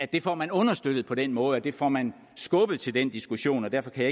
det får man understøttet på den måde der får man skubbet til den diskussion og derfor kan